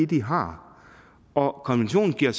de har og konventionen giver